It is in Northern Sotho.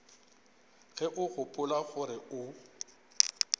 ge o gopola gore o